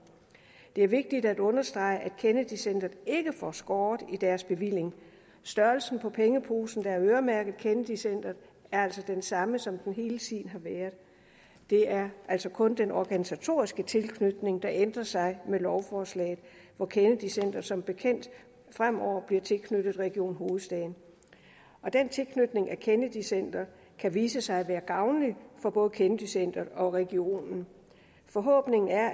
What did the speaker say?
det er vigtigt at understrege at kennedy centret ikke får skåret i deres bevilling størrelsen på pengeposen der er øremærket kennedy centret er altså den samme som den hele tiden har været det er altså kun den organisatoriske tilknytning der ændrer sig med lovforslaget hvor kennedy centret som bekendt fremover bliver tilknyttet region hovedstaden den tilknytning af kennedy centret kan vise sig at være gavnlig for både kennedy centret og regionen forhåbningen er